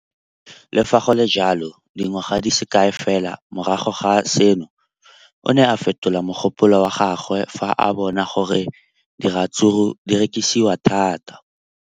Le fa go le jalo, dingwaga di se kae fela morago ga seno, o ne a fetola mogopolo wa gagwe fa a bona gore diratsuru di rekisiwa thata.